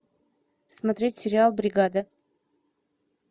смотреть сериал бригада